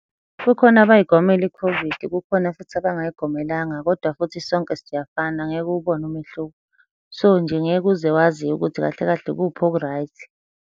Kukhona abayigomela i-COVID, kukhona futhi abangayigomelanga kodwa futhi sonke siyafana ngeke uwubone umehluko. So, nje ngeke uze wazi ukuthi kahle kahle ikuphi oku-right.